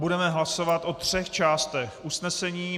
Budeme hlasovat o třech částech usnesení.